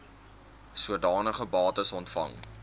sodanige bates ontvang